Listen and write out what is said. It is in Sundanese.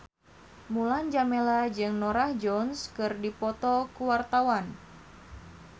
Mulan Jameela jeung Norah Jones keur dipoto ku wartawan